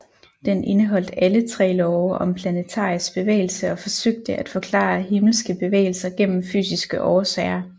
Den indeholdt alle tre love om planetarisk bevægelse og forsøgte at forklare himmelske bevægelser gennem fysiske årsager